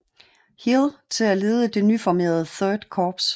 Hill til at lede det nyformerede Third Corps